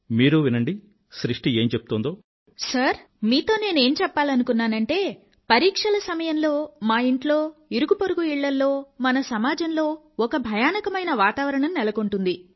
మీరు వినండి సృష్టి ఏం చెప్తోందో సార్ మీతో నేను ఏం చెప్పాలనుకున్నానంటే పరీక్షల సమయంలో మా ఇంట్లో ఇరుగుపొరుగు ఇళ్ళల్లో మన సమాజంలో ఒక భయానకమైన వాతావరణం నెలకొంటుంది